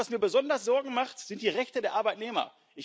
Und was mir besonders Sorgen macht, sind die Rechte der Arbeitnehmer.